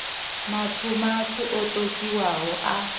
matswu matswu o totiwaho a